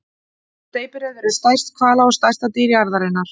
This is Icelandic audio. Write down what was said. Steypireyður er stærst hvala og stærsta dýr jarðarinnar.